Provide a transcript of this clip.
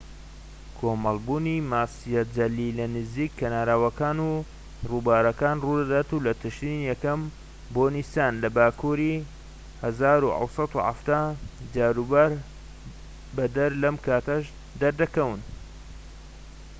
کۆمەلبوونی ماسیە جەلی لەنزیک کەناراوەکان و رووبارەکان روودەدات لە تشرینی یەکەم بۆ نیسان لە باکوری ١٧٧٠. جاروبار بەدەر لەم کاتانەش دەردەکەون